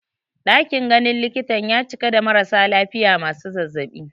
Ɗakin ganin likitan ya cika da marasa lafiya masu zazzaɓi